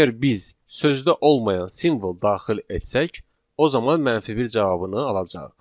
Əgər biz sözdə olmayan simvol daxil etsək, o zaman mənfi bir cavabını alacağıq.